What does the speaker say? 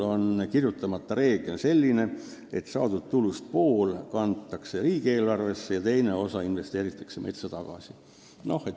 Kirjutamata reegel on selline, et saadud tulust pool kantakse riigieelarvesse ja teine osa investeeritakse metsa tagasi.